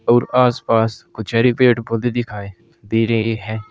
और आस पास कुछ हरे पेड़ पौधे दिखाई दे रहे है।